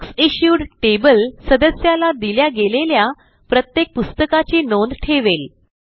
books issued table सदस्याला दिल्या गेलेल्या प्रत्येक पुस्तकाची नोंद ठेवेल